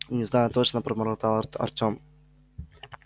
не знаю точно пробормотал артём